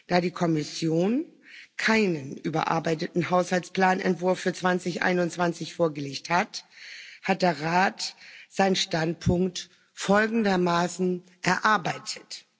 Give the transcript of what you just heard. Da die Kommission keinen überarbeiteten Haushaltsplanentwurf für 2021 vorgelegt hat, hat der Rat seinen Standpunkt folgendermaßen erarbeitet.